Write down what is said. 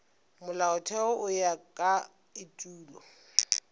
molaotheo go ya ka etulo